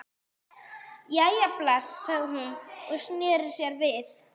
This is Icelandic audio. Jæja, bless. sagði hún og sneri sér við.